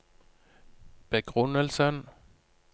begrunnelsen